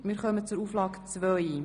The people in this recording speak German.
Wir kommen zu Auflage 2.